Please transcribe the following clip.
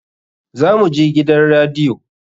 Za mu je gidan radiyo.